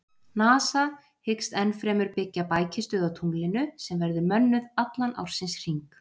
NASA hyggst ennfremur byggja bækistöð á tunglinu sem verður mönnuð allan ársins hring.